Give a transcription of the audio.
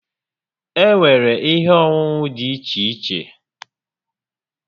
Enwere ihe onunu di iche iche